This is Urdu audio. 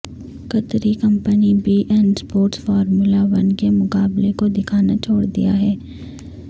قطری company beIN sports formula one کے مقابلے کو دکھانا چھوڑ دیا ہے